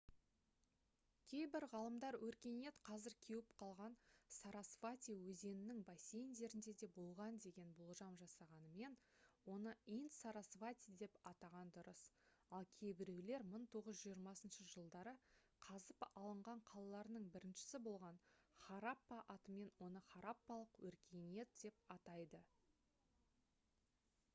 кейбір ғалымдар өркениет қазір кеуіп қалған сарасвати өзенінің бассейндерінде де болған деген болжам жасағанымен оны инд-сарасвати деп атаған дұрыс ал кейбіреулер 1920 жылдары қазып алынған қалаларының біріншісі болған хараппа атымен оны хараппалық өркениет деп атайды